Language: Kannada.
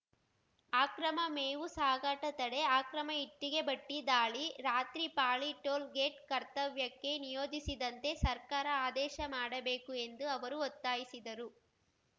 ಆಕ್ರಮ ಮೇವು ಸಾಗಾಟ ತಡೆ ಆಕ್ರಮ ಇಟ್ಟಿಗೆ ಭಟ್ಟಿದಾಳಿ ರಾತ್ರಿ ಪಾಳಿ ಟೋಲ್‌ ಗೇಟ್‌ ಕರ್ತವ್ಯಕ್ಕೆ ನಿಯೋಜಿಸಿದಂತೆ ಸರ್ಕಾರ ಆದೇಶ ಮಾಡಬೇಕು ಎಂದು ಅವರು ಒತ್ತಾಯಿಸಿದರು